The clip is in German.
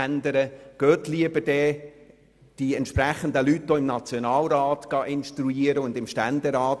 Instruieren Sie lieber die entsprechenden Vertretenden im National- und Ständerat.